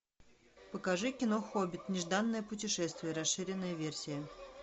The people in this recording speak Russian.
покажи кино хоббит нежданное путешествие расширенная версия